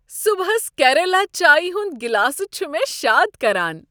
صبحس کیرلا چایہ ہنٛد گلاسہٕ چھٗ مےٚ شاد کران۔